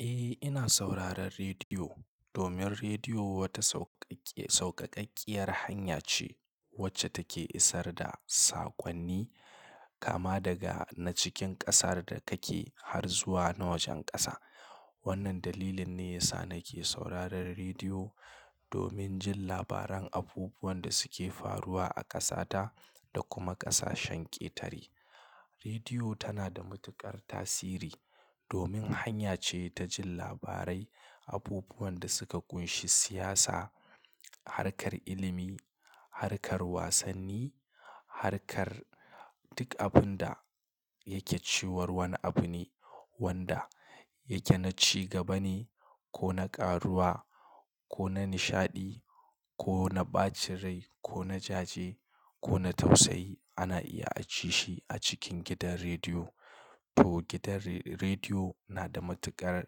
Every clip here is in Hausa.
Eh, ina sauraron rediyo domin rediyo wata sauƙaƙƙiya sauƙaƙaƙiyar hanya ce wacce take isar da saƙonni, kama daga na cikin ƙasar da kake har zuwa na wajen ƙasa. Wannan dalilin ne yasa nake sauraron rediyo domin jin labaran abubuwan da suke faruwa a ƙasata da kuma ƙasashen ƙetare. Rediyo tana da matuƙar tasiri domin hanya ce ta jin labarai, abubuwan da suka kunshi siyasa, harkar ilimi, harkar wasanni, harkar duk abun da yake ciwar wani abu ne wanda yake na cigaba ne ko na ƙaruwa ko na nishaɗi ko na ɓacin rai ko na jaje ko na tausayi ana iya a ci shi a cikin gidan rediyo. To gidan re-rediyo na da matuƙar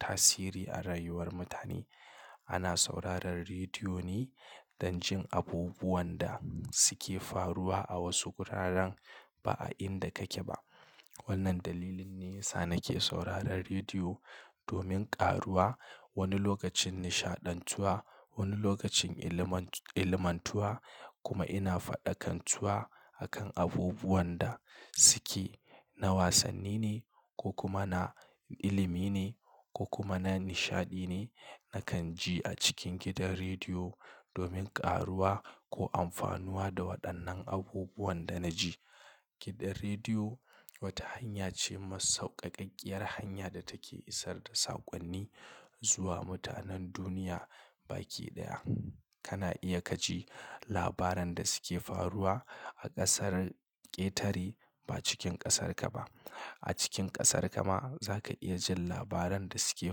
tasiri a rayuwar mutane. Ana sauraron rediyo ne don jin abubuwan da suke faruwa a wasu wuraren ba a inda kake ba. Wannan dalilin ne yasa nake sauraron rediyo domin ƙaruwa wani lokacin nishaɗantuwa, wani lokacin ilimantuwa kuma ina faɗakantuwa akan abubuwan da suke na wasanni ne ko kuma na ilimi ne ko kuma na nishaɗi ne. Nakan ji a cikin gidan rediyo domin ƙaruwa ko amfanuwa da waɗannan abubuwan da na ji. Gidan rediyo wata hanya ce ma sauƙaƙaƙiyar hanya da take isar da saƙonni zuwa mutanen duniya baki daya. Kana iya ka ji labaran da suke faruwa a ƙasar ƙetare ba cikin ƙasarka ba. A cikin ƙasarka ma za ka iya jin labaran da suke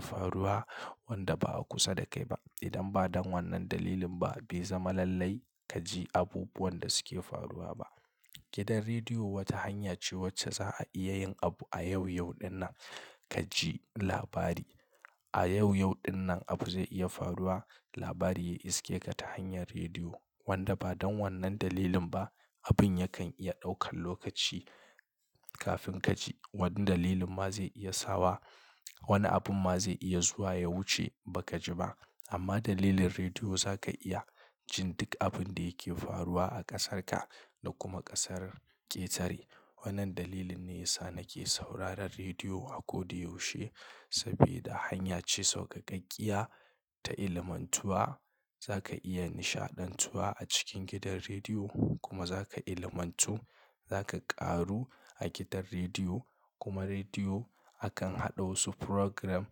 faruwa wanda ba a kusa da kai ba. Idan ba don wannan dalilin ba, bai zama lallai ka ji abubuwan da suke faruwa ba. Gidan rediyo wata hanya ce wacce za a iya yin abu a yau, yau ɗin nan ka ji labari. A yau, yau ɗin nan abu zai iya faruwa, labari ya iske ka ta hanyar rediyo wanda ba don wannan dalilin ba, abun yakan iya ɗaukan lokaci kafin ka ji. Wani dalilin ma zai iya sawa wani abun ma zai iya zuwa ya wuce ba ka ji ba. Amma dalilin rediyo za ka iya jin duk abun da yake faruwa a ƙasarka da kuma ƙasar ƙetare. Wannan dalilin ne yasa nake sauraron rediyo a koda yaushe sabida hanya ce sauƙaƙaƙiya ta ilimantuwa. Za ka iya nishaɗantuwa a cikin gidan rediyo kuma za ka ilimantu. Za ka ƙaru a gidan rediyo kuma rediyo akan haɗa wasu program,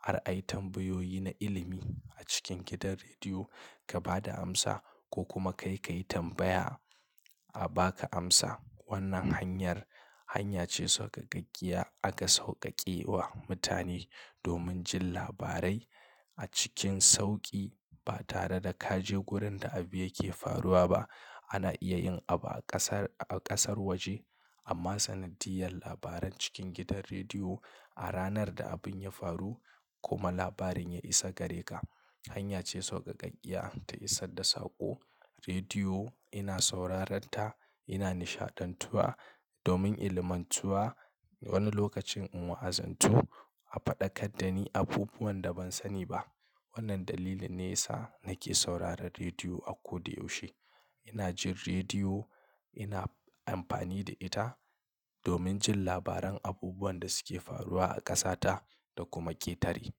har ai tambayoyi na ilimi a cikin gidan rediyo ka ba da amsa ko kuma kai ka yi tambaya a ba ka amsa. Wannan hanyar hanya ce sauƙaƙaƙiya aka sauƙaƙe wa mutane domin jin labarai a cikin sauƙi ba tare da ka je wurin da abu yake faruwa ba. Ana iya yin abu a ƙasar, a ƙasar waje amma sanadiyyar labaran cikin gidan rediyo a ranar da abun ya faru kuma labarin ya isa gare ka, hanya ce sauƙaƙaƙiya ta isar da saƙo. Rediyo ina sauraren ta, ina nishaɗantuwa domin ilimantuwa. Wani lokacin in wa'azantu, a faɗakar da ni abubuwan da ban sani ba. Wannan dalilin ne yasa nake sauraron rediyo a koda yaushe. Ina jin rediyo, ina amfani da ita domin jin labaran abubuwan da suke faruwa a ƙasata da kuma ƙetare.